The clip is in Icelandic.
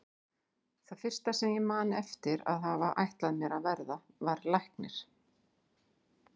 Það fyrsta sem ég man eftir að hafa ætlað mér að verða var læknir.